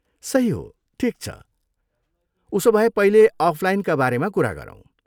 सही हो, ठिक छ, उसोभए पहिले अफलाइनका बारेमा कुरा गरौँ।